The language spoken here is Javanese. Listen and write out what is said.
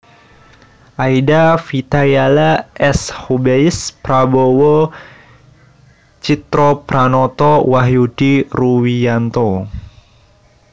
Aida Vitayala S Hubeis Prabowo Tjitropranoto Wahyudi Ruwiyanto